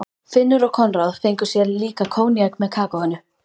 Finnur og Konráð fengu sér líka koníak með kakóinu.